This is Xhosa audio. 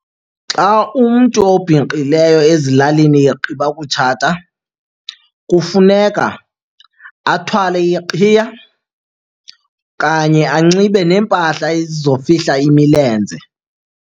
Xa umntu obhinqileyo ezilalini egqiba kutshata kufuneka athwale iqhiya kanye anxibe neempahla ezizofihla imilenze.